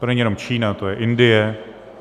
To není jenom Čína, to je Indie.